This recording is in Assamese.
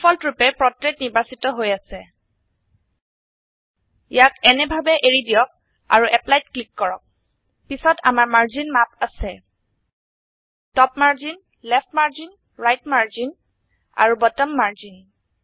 ডিফল্ট ৰুপে পোৰ্ট্ৰেইট নিৰ্বাচিত হৈ আছে ইয়াক এনে ভাবে এৰি দিয়ক আৰু Applyত ক্লিক কৰক পিছত আমাৰ মাৰ্জিন মাপ আছে top margin left margin right margin আৰু বটম মাৰ্জিন